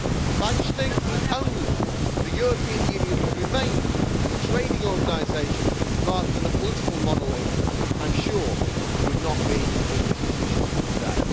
But I just think if only the European Union had remained as a trading organisation rather than a political monolith, I am sure we would not be in this position today.